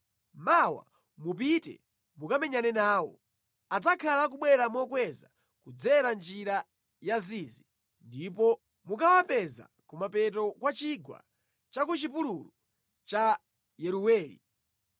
Mawa mupite mukamenyane nawo. Adzakhala akubwera mokweza kudzera Njira ya Zizi, ndipo mukawapeza kumapeto kwa chigwa cha ku chipululu cha Yeruweli.